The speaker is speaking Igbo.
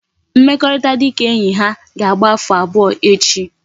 Mmekorita dika enyi ha ka agba afo abuo echi